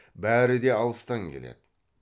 бәрі де алыстан келеді